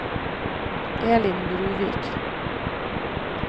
Elin Bruvik